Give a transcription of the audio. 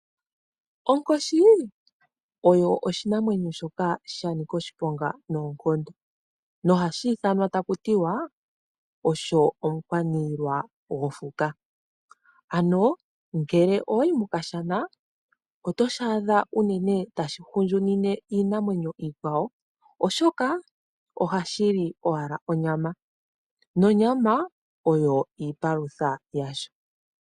Onkoshi oyo oshinamwenyo shoka sha nika oshiponga noonkondo no hashi ithanwa taku tiwa osho omukwaniilwa gwofuka. Ano ngele owa yi mOkashana otoshi adha unene tashi hondjunine iinamwenyo iikwawo oshoka ohashi li owala onyama, nonyama oyo iipalutha yasho.